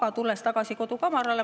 Ent tulen tagasi kodukamarale.